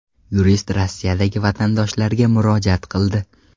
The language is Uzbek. Yurist Rossiyadagi vatandoshlarga murojaat qildi.